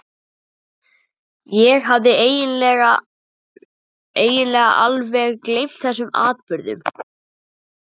Ég hafði eiginlega alveg gleymt þessum atburðum.